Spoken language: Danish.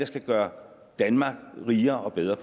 skal gøre danmark rigere og bedre